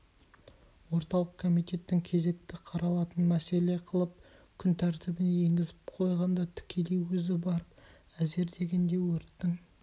орталық комитетің кезекті қаралатын мәселе қылып күн тәртібіне енгізіп қойғанда тікелей өзі барып әзер дегенде өрттің